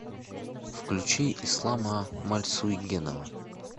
включи ислама мальсуйгенова